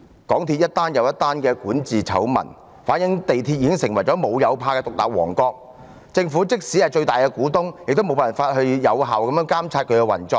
港鐵公司接連爆發管治醜聞，反映出港鐵公司已成為"無有怕"的獨立王國，政府即使身為港鐵公司最大的股東，也無法有效監察他們的運作。